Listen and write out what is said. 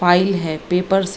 file है papers --